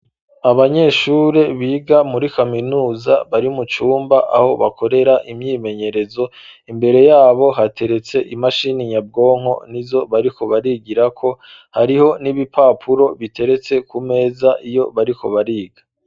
Abanyeshure biga muri kaminuza bari mu cumba aho bakorera imyimenyerezo imbere yabo hateretse imashini nyabwonko nizo bariko barigirako hariho n'ibipapuro biteretse ku meza iyo bariko bariga.